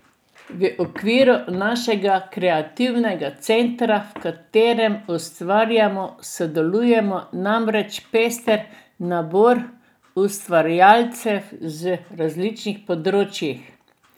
V okviru našega kreativnega centra, v katerem ustvarjamo, sodeluje namreč pester nabor ustvarjalcev z različnih področij.